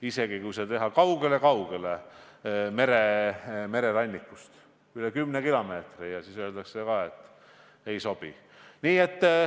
Isegi siis, kui teha see mererannikust kaugele-kaugele, üle kümne kilomeetri kaugemale, ikka öeldakse, et ei sobi.